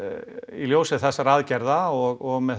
í ljósi þessara aðgerða og með